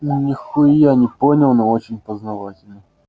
нихуя не понял но очень познавательно